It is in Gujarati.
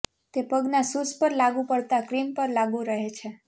તે પગના શૂઝ પર લાગૂ પડતા ક્રીમ પર લાગુ રહે છે